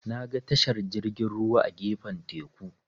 Naga tashar jirgin ruwa a gefen teku.